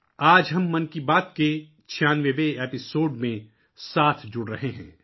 آج ہم من کی بات کے چھیانوے 96 ایپیسوڈ میں شامل ہو رہے ہیں